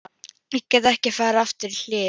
Ég get ekki farið aftur í hlið